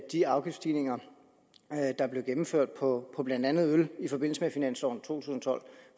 de afgiftsstigninger der blev gennemført på blandt andet øl i forbindelse med finansloven to tusind og tolv